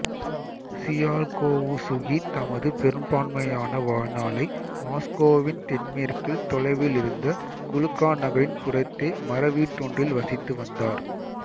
Tsiolkovsky தமது பெரும்பான்மையான வாழ்நாளை மாசுக்கோவின் தென்மேற்கில் தொலைவிலிருந்த குளுகா நகரின் புறத்தே மரவீடொன்றில் வசித்து வந்தார்